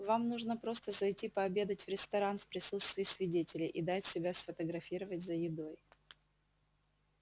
вам нужно просто зайти пообедать в ресторан в присутствии свидетелей и дать себя сфотографировать за едой